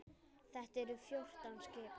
Þetta eru fjórtán skip.